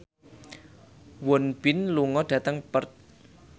Won Bin lunga dhateng Perth